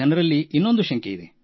ಜನರಲ್ಲಿ ಇನ್ನೊಂದು ಶಂಕೆಯಿದೆ